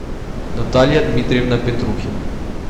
наталья дмитриевна петрухина